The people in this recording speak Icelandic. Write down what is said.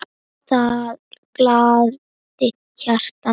Það gladdi hjartað mitt.